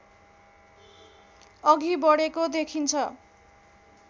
अघि बढेको देखिन्छ